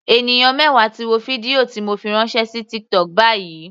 Ènìyàn mẹwa ti wo fídíò ti mo fi ránṣẹ́ sí TikTok báyìí.